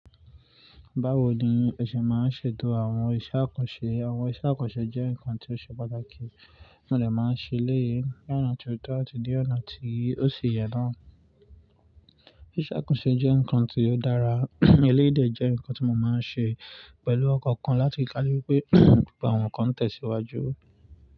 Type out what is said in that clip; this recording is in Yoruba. Báwo ni ẹ ṣe máa ń ṣètò àwọn iṣẹ́ àkànṣe? Àwọn iṣẹ́ àkànṣe jẹ́ nǹkan tí ó ṣe pàtàkì, mo dẹ̀ máa ṣe eléyìí ní ọ̀nà ti o tọ́ àti ní ọ̀nà tí ó sì yẹ náà. Ìṣe àkànṣe jẹ́ nǹkan tí ó dára, eléyìí jẹ́ nǹkan tí mo máa ń ṣe pẹ̀lú ọkọ̀ kan láti kálú wipé gbogbo àwọn nǹkan n tẹ̀síwájú.